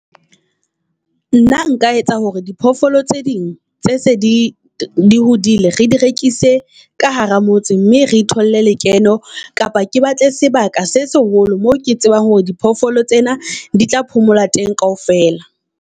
Nna nka etsa hore diphoofolo tse ding tse se di di hodile, re di rekise ka hara motse mme re thole lekeno. Kapa ke batle sebaka se seholo mo ke tsebang hore di phoofolo tsena di tla phomola teng kaofela.